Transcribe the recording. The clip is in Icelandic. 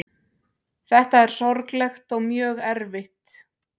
Þetta er sorglegt og mjög erfitt